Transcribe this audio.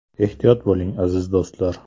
Ehtiyot bo‘ling, aziz do‘stlar!